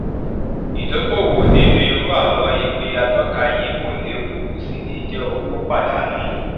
ìdókòwò nínú irú àwọn ìwé atóka yìí kò léwu kò sì ní jé owó pàdánù